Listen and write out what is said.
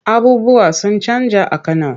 Abubuwa sun canja a Kano.